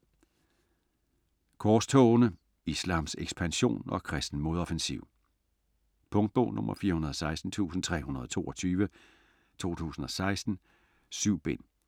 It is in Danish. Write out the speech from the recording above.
Korstogene: islams ekspansion og kristen modoffensiv Punktbog 416322 2016. 7 bind.